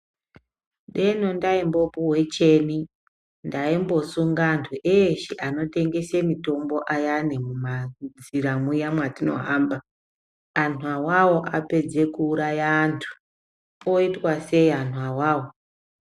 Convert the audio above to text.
Deno ndaimbopuwe cheni ndaumbosunga antu eshe anotengese mitombo ayani mumanzira muya mwatinohamba. Antu awawo apedze kuuraya antu. Oitwa sei antu awawo?